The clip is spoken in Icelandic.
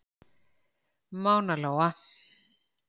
Mána Lóa.